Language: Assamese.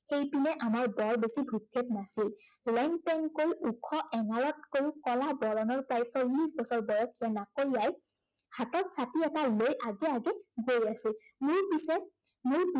ইপিনে আমাৰ বৰ বেছি ভ্ৰক্ষেপ নাছিল। লেংপেংকৈ ওখ, এঙাৰতকৈও কলা বৰণৰ প্ৰায় চল্লিশ বছৰ বয়সৰ নাকৈৰীয়াই হাতত ছাতি এটা লৈ আগে আগে গৈ আছিল। মোৰ পিছে